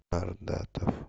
ардатов